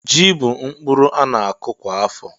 Ji bú mkpụrụ a na-akọ kwa afọ